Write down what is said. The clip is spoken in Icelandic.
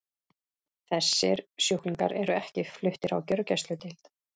Þessir sjúklingar eru ekki fluttir á gjörgæsludeild.